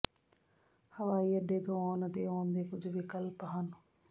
ਹਵਾਈ ਅੱਡੇ ਤੋਂ ਆਉਣ ਅਤੇ ਆਉਣ ਦੇ ਕੁਝ ਵਿਕਲਪ ਹਨ